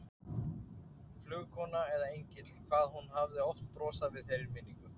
Flugkona eða engill, hvað hún hafði oft brosað við þeirri minningu.